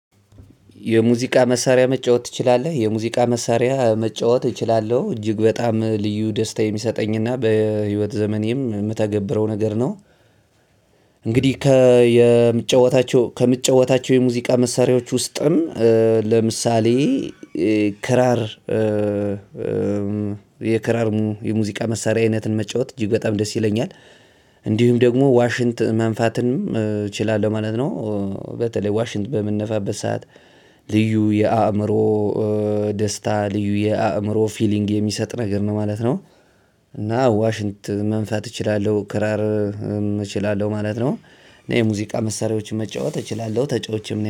የሙዚቃ መሳሪያ መጫወት ትችላለህ የሙዚቃ መሳሪያ መጫወት እችላለሁ እጅግ በጣም ልዩ ደስታ የሚሰጠኝና በህይወት ዘመኔም የምተገብረው ነገር ነው። እንግዲህ ከየምጨዋታቸው ከምጫዋታቸው የሙዚቃ መሳሪያዎች ውስጥም ለምሳሌ ክራር። የክራር የሙዚቃ መሳሪያዊነትን መጫወት እጅግ በጣም ደስ ይለኛል። እንዲሁም ደግሞ ዋሽንት መንፋትን እችላለሁ ማለት ነው። በተለይ ዋሽንት በምንነፋበት ሰዓት ልዩ የአእምሮ ደስታ ልዩ የአእምሮ ፊሊንግ የሚሰጥ ነገር ነው ማለት ነው። እና ዋሽንት መንፈት እችላለሁ ክራር እችላለሁ ማለት ነው። እና የሙዚቃ መሳሪያዎችን መጫወት እችላለሁ ተጫውቼም ነው